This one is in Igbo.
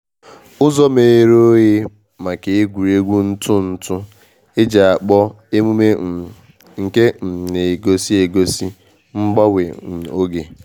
Uzo meghere oghe maka egwuregwu ntụ ntụ e ji akpọ emume um nke um na egosi egosi mgbanwe um oge.